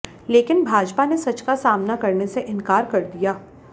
लेकिन भाजपा ने सच का सामना करने से इनकार कर दिया